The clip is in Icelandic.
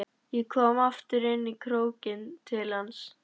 Ég kom aftur inn í krókinn til hans.